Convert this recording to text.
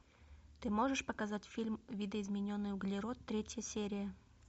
ты можешь показать фильм видоизмененный углерод третья серия